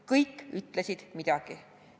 Kõik ütlesid midagi.